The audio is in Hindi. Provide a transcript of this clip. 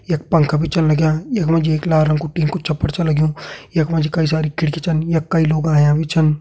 यख पंखा भी छन लगयां यख मा जी एक लाल रंग कु टिन कु छप्पर छ लग्युं यख मा जी कई सारी खिड़की छन यख कई लोग आयां भी छन।